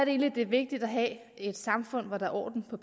egentlig det er vigtigt at have et samfund hvor der er orden på